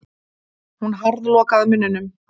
Hún harðlokaði munninum.